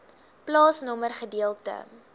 plaasnommer gedeelte